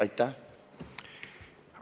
Aitäh!